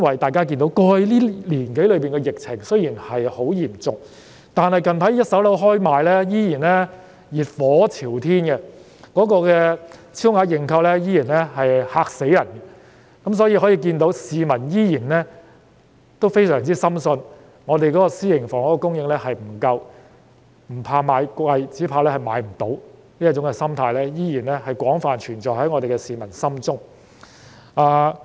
大家都看到，雖然過去一年多，疫情很嚴重，但近來開售的一手樓盤，銷情依然熱火朝天，超額認購的情況令人大吃一驚，由此可見，市民依然深信香港的私營房屋供應量不足，那種"不怕買貴，只怕買不到"的心態依然廣泛地存在於市民心中。